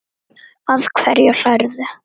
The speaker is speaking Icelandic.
Að hverju hlærðu?